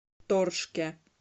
торжке